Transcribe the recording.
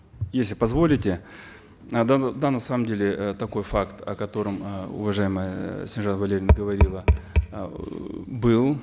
если позволите э да да на самом деле э такой факт о котором э уважаемая э снежанна валерьевна говорила эээ был